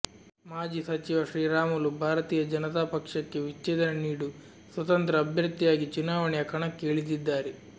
ಮಾಜಿ ಸಚಿವ ಶ್ರೀರಾಮುಲು ಭಾರತೀಯ ಜನತಾ ಪಕ್ಷಕ್ಕೆ ವಿಚ್ಛೇದನ ನೀಡು ಸ್ವತಂತ್ರ ಅಭ್ಯರ್ಥಿಯಾಗಿ ಚುನಾವಣೆಯ ಕಣಕ್ಕೆ ಇಳಿದಿದ್ದಾರೆ